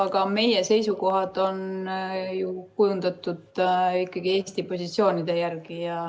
Aga meie seisukohad on ju kujundatud ikkagi Eesti positsioonide järgi.